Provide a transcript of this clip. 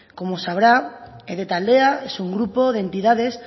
como sabrá ede taldea es un grupo de entidades